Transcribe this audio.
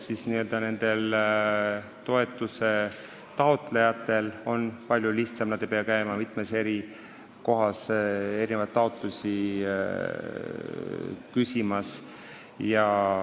Nii on taotlejatel palju lihtsam: nad ei pea käima mitmes kohas taotlusi tegemas.